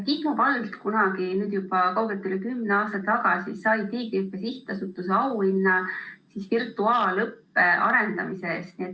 Kihnu vald sai kunagi, nüüd juba kaugelt üle kümne aasta tagasi, Tiigrihüppe Sihtasutuse auhinna virtuaalõppe arendamise eest.